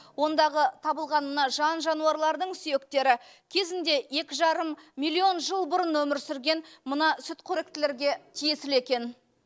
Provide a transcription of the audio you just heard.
ондағы табылған мына жан жануарлардың сүйектері кезінде екі жарым миллион жыл бұрын өмір сүрген мына сүтқоректілерге тиесілі екен